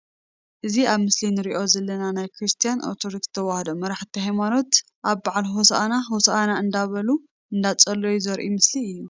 እዚ ኣብ ምስሊ ንርኦ ዘለና ናይ ክርስትያን ኦርቶዶክስ ተዋህዶ መራሕቲ ሃይማኖት ኣብ ባዓል ሆሳና ሆሳና እንዳበሉን እንዳፀለዩን ዘርኢ ምስሊ እዩ።